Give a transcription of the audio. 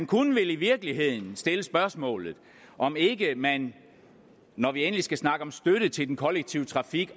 kunne vel i virkeligheden stille spørgsmålet om ikke man når vi endelig skal snakke om støtte til den kollektive trafik